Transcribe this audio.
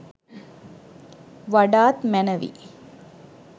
වඩාත් මැනවි.